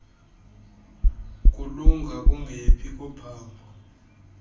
kulunga kungephi kophambo